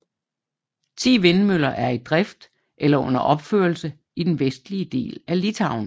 Ti vindmøller er i drift eller under opførelse i den vestlige del af Litauen